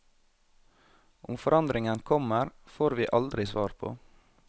Om forandringen kommer, får vi aldri svar på.